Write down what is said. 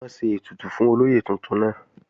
Wọ́n ń ṣe ètùtù fún olóyè tuntun náà